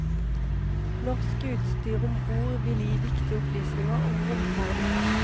Norsk utstyr om bord vil gi viktige opplysninger om romferden.